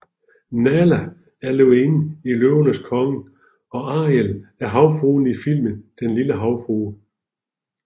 Nahla er løvinden i Løvernes Konge og Ariel er havfruen i filmen Den lille havfrue